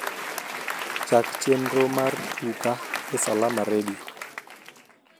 chak chenro mar tuka e salama redio